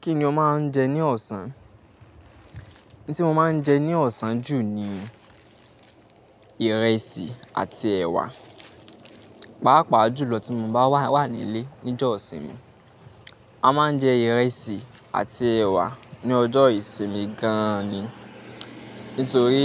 Kíni ó máa ń jẹ ní ọ̀sán? N tí mo máa ń jẹ ní ọ̀sán jù ni ìrẹsì àti ẹ̀wà. Pàápàá jùlọ tí mo bá wà, wà nílé ní ọjọ́ ìsinmi. A máa ń jẹ ìrẹsì àti ẹ̀wà ní ọjọ́ ìsinmi gan ni. Nítorí